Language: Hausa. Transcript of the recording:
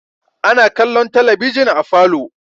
Ana kallon talabijin a falo.